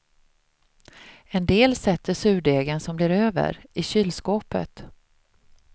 En del sätter surdegen som blir över i kylskåpet.